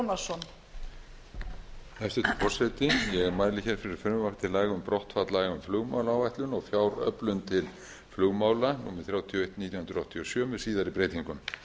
hæstvirtur forseti ég mæli hér fyrir frumvarpi til laga um brottfall laga um flugmálaáætlun og fjáröflun til flugmála númer þrjátíu og eitt nítján hundruð áttatíu og sjö með síðari breytingum